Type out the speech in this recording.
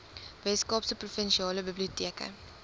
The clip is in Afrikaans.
weskaapse provinsiale biblioteke